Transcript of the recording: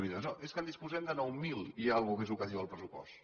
no és que en disposem de nou mil i una mica més que és el que diu el pressupost